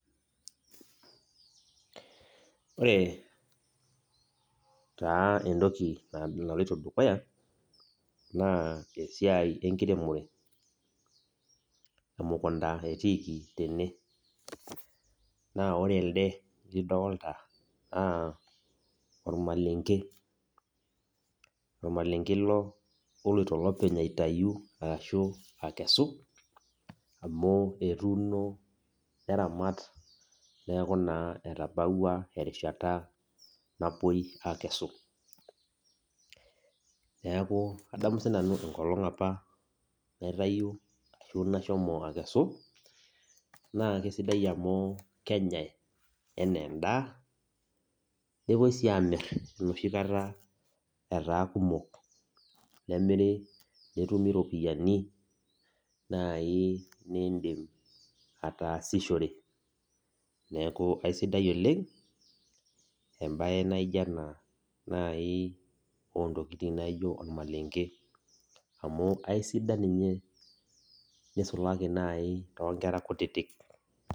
Ore taa entoki naloito dukuya naa esiai enkiremore emkunda etiiki tende, naa ore elde lidolta naa ormalenge ele loloito olopeny aitayu arashu akesu amu etuuno neraat niaku naa etabaua erishata napuoi akesu adamu sinanu enkolong' apa naitayio arashu nashomo akesu naa kesidai amu kenyae enaa endaa nepuoi sii amir enoshi kata etaa kumok, nemiri netumi iropiyiani naai niidim ataasishore, niaku kesidai embae nijo ena naai entoki nijo ormalengei amu aisidani ninye nisulaki naai tonkera kutitik.